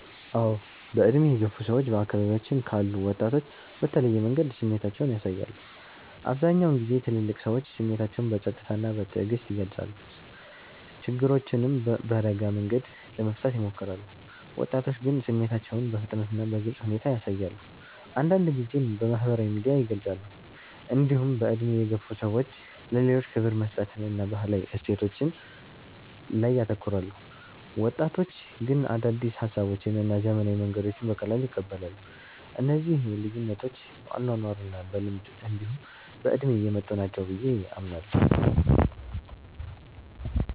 አዎ። በዕድሜ የገፉ ሰዎች በአካባቢያችን ካሉ ወጣቶች በተለየ መንገድ ስሜታቸውን ያሳያሉ። አብዛኛውን ጊዜ ትልልቅ ሰዎች ስሜታቸውን በጸጥታ እና በትዕግስት ይገልጻሉ፣ ችግሮችንም በረጋ መንገድ ለመፍታት ይሞክራሉ። ወጣቶች ግን ስሜታቸውን በፍጥነት እና በግልጽ ሁኔታ ያሳያሉ፣ አንዳንድ ጊዜም በማህበራዊ ሚዲያ ይገልጻሉ። እንዲሁም በዕድሜ የገፉ ሰዎች ለሌሎች ክብር መስጠትን እና ባህላዊ እሴቶችን ላይ ያተኩራሉ። ወጣቶች ግን አዳዲስ ሀሳቦችን እና ዘመናዊ መንገዶችን በቀላሉ ይቀበላሉ። እነዚህ ልዩነቶች በአኗኗር እና በልምድ እንዲሁ በእድሜ የመጡ ናቸው ብየ አምናለሁ።